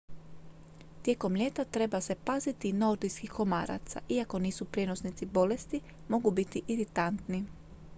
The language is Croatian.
tijekom ljeta treba se paziti i nordijskih komaraca iako nisu prijenosnici bolesti mogu biti iritantni